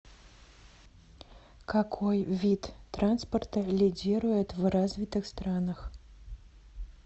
какой вид транспорта лидирует в развитых странах